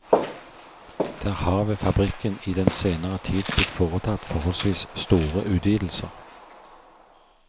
Der har ved fabrikken i den senere tid blitt foretatt forholdsvis store utvidelser.